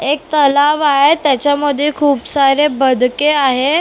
एक तलाव आहे त्याच्यामध्ये खूप सारे बदके आहे.